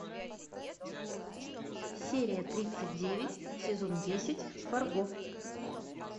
серия тридцать девять сезон десять фарго